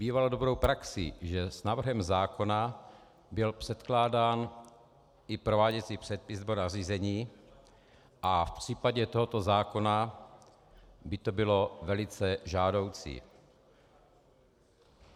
Bývalo dobrou praxí, že s návrhem zákona byl předkládán i prováděcí předpis nebo nařízení, a v případě tohoto zákona by to bylo velice žádoucí.